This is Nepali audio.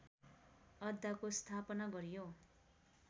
अड्डाको स्थापना गरियो